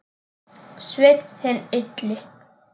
Sveinn hinn illi.